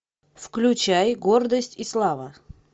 включай гордость и слава